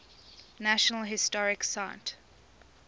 national historic site